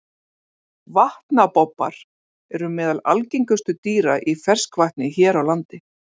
Vatnabobbar eru meðal algengustu dýra í ferskvatni hér á landi.